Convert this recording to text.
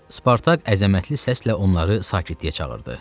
Spartak əzəmətli səslə onları sakitliyə çağırdı.